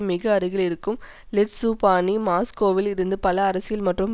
மிக அருகில் இருக்கும் ஸிட்லுபானி மாஸ்கோவில் இருந்து பல அரசியல் மற்றும்